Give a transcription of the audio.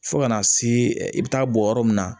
Fo ka na se i bɛ taa bɔ yɔrɔ min na